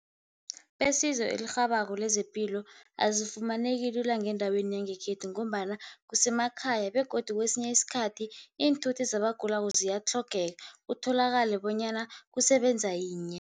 Besizo elirhabako lezepilo, azifumaneki lula ngendaweni yangekhethu ngombana kusemakhaya begodu kwesinye isikhathi iinthuthi zabagulako ziyatlhogeka, kutholakale bonyana kusebenza yinye.